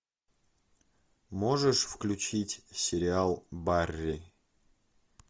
можешь включить сериал барри